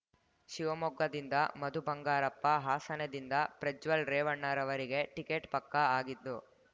ಶಿವಮೊಗ್ಗದಿಂದ ಮಧುಬಂಗಾರಪ್ಪ ಹಾಸನದಿಂದ ಪ್ರಜ್ವಲ್ ರೇವಣ್ಣ ರವರಿಗೆ ಟಿಕೆಟ್ ಪಕ್ಕಾ ಆಗಿದ್ದು